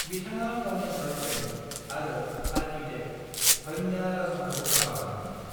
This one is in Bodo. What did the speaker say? बिथाङा गावनि गार्लफ्रेन्द आरो आर्किटेक्ट धन्या राजनखौ हाबा लादोंमोन।